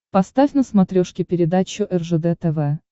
поставь на смотрешке передачу ржд тв